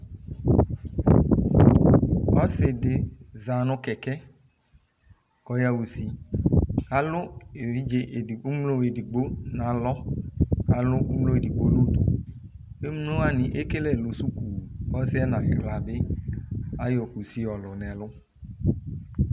Ɔsidi zanu kɛkɛ ku ɔyaɣa usi alu evidze emlo edigbo du nalɔ aluemlo edigbo nu udu emlo wa ekele ɛlu suku ɔsɩ nu ayiɣla ayɔ kusi yɔlunɛlu